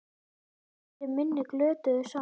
Þau biðja fyrir minni glötuðu sál.